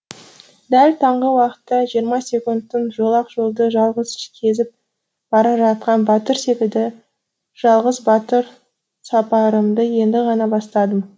дәл таңғы уақытта жиырма секундттың жолақ жолды жалғыз кезіп бара жатқан батыр секілді жалғыз батыр сапарымды енді ғана бастадым